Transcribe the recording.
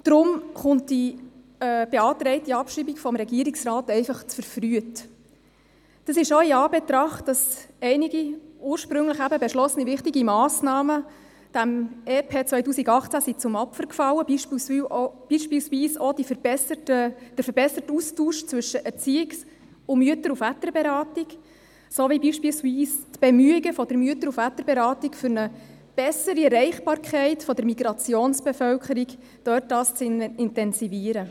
Deshalb kommt die vom Regierungsrat beantragte Abschreibung einfach verfrüht, auch in Anbetracht dessen, dass einige, ursprünglich eigentlich beschlossene, wichtige Massnahmen dem EP 2018 zum Opfer gefallen sind, beispielsweise auch der verbesserte Austausch zwischen Erziehungs- und Mütter- und Väterberatung sowie beispielsweise die Bemühungen der Mütter- und Väterberatung um eine bessere Erreichbarkeit der Migrationsbevölkerung, respektive darum, diese zu intensivieren.